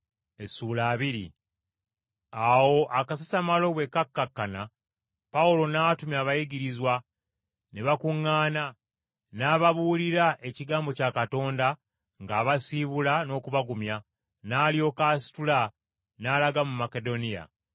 Awo akasasamalo bwe kakkakkana, Pawulo n’atumya abayigirizwa, ne bakuŋŋaana, n’ababuulira ekigambo kya Katonda ng’abasiibula n’okubagumya, n’alyoka asitula n’alaga mu Makedoniya.